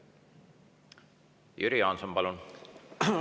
Jüri Jaanson, palun!